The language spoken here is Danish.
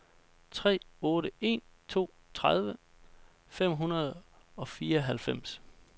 tre otte en to tredive fem hundrede og fireoghalvfems